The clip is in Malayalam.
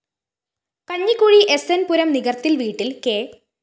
കഞ്ഞിക്കുഴി എസ്എന്‍ പുരം നികര്‍ത്തില്‍ വീട്ടില്‍ കെ